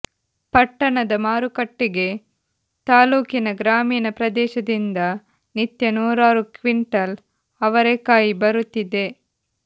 ಪಟ್ಟಣದ ಮಾರುಕಟ್ಟೆಗೆ ತಾಲ್ಲೂಕಿನ ಗ್ರಾಮೀಣ ಪ್ರದೇಶದಿಂದ ನಿತ್ಯ ನೂರಾರು ಕ್ವಿಂಟಲ್ ಅವರೆಕಾಯಿ ಬರುತ್ತಿದೆ